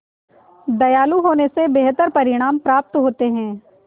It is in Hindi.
दयालु होने से बेहतर परिणाम प्राप्त होते हैं